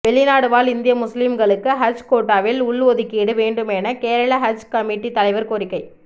வெளிநாடுவாழ் இந்திய முஸ்லீம்களுக்கு ஹஜ் கோட்டாவில் உள்ஒதுக்கீடு வேண்டும் என கேரள ஹஜ் கமிட்டி தலைவர் கோரிக்கை